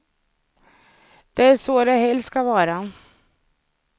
Det är så det helst ska vara.